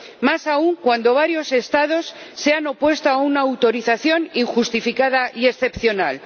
Más aún cuando varios Estados se han opuesto a una autorización injustificada y excepcional.